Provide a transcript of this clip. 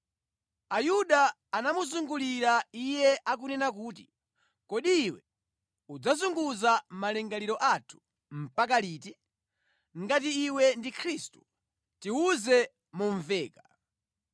Ayuda anamuzungulira Iye akunena kuti, “Kodi iwe udzazunguza malingaliro athu mpaka liti? Ngati iwe ndi Khristu, tiwuze momveka.”